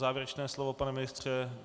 Závěrečné slovo, pane ministře.